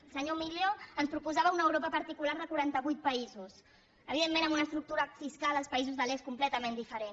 el senyor millo ens proposava una europa particular de quarantavuit països evidentment amb una estructura fiscal als països de l’est completament diferent